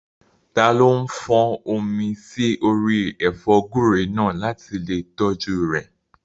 Taló fọ́n omi sí orí ẹ̀fọ́ gúúre náà láti lè tọ́jú rẹ̀?